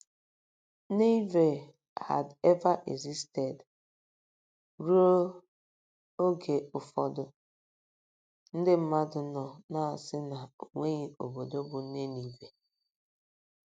neveh had ever existed! Ruo oge ụfọdụ, ndị mmadụ nọ na - asị na o nweghị obodo bụ́ Ninive.